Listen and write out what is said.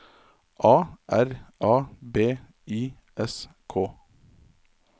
A R A B I S K